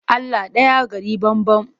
Allah ɗaya gari banban.